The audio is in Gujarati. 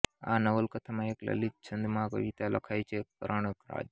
આ નવલકથામાં એક લલિત છંદમાં કવિતા લખાઈ છે કરણ રાજ